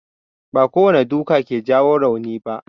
Ba kowane duka ke jawo rauni ba.